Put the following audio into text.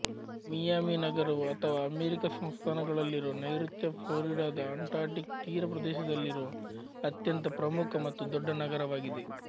Miami ನಗರವು ಅಥವಾ America ಸಂಸ್ಥಾನಗಳಲ್ಲಿರುವ ನೈಋತ್ಯಫ್ಲೋರಿಡಾದ ಅಟ್ಲಾಂಟಿಕ್ ತೀರ ಪ್ರದೇಶದಲ್ಲಿರುವ ಅತ್ಯಂತ ಪ್ರಮುಖ ಮತ್ತು ದೊಡ್ಡ ನಗರವಾಗಿದೆ